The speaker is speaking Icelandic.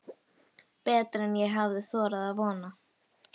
Betra en ég hafði þorað að vona